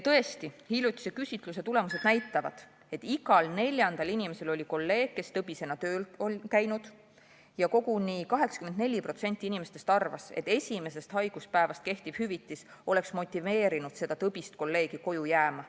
Tõesti, hiljutise küsitluse tulemused näitavad, et igal neljandal inimesel oli kolleeg, kes on tõbisena tööl käinud, ja koguni 84% inimestest arvas, et esimesest haiguspäevast kehtiv hüvitis oleks motiveerinud seda tõbist kolleegi koju jääma.